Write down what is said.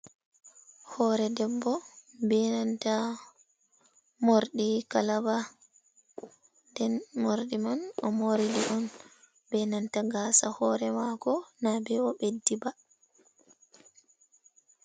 hoore debbo bee nanta morɗi kalaba nden morɗi man o moori on bee nanta gaasa hoore maako na bee o ɓeddi ba.